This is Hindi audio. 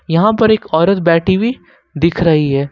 यहां पर एक औरत बैठी हुई दिख रही है।